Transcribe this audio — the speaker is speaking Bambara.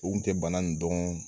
U kun tɛ bana nin dɔn